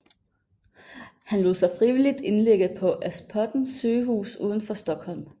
Han lod sig frivilligt indlægge på Aspudden sygehus udenfor Stockholm